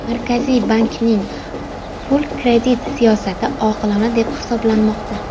Markaziy bankning pul-kredit siyosati oqilona deb baholanmoqda.